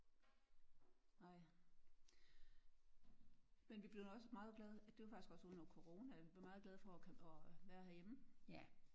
Ej men vi blev nu også meget glade at det var faktisk også under corona vi blev meget glad for at være herhjemme